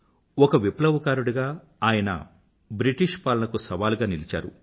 ఒక విప్లవకారుడిగా ఆయన బ్రిటిష్ పాలనకు సవాలుగా నిలిచారు